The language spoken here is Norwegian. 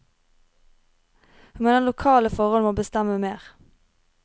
Hun mener lokale forhold må bestemme mer.